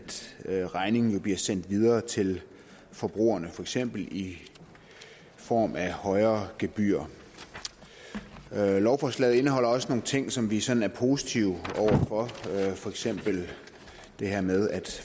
at regningen bliver sendt videre til forbrugerne for eksempel i form af højere gebyrer lovforslaget indeholder også nogle ting som vi sådan er positive over for for eksempel det her med at